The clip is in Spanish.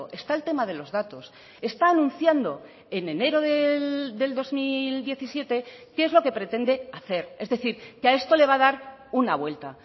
está el tema de los datos está anunciando en enero del dos mil diecisiete qué es lo que pretende hacer es decir que a esto le va a dar una vuelta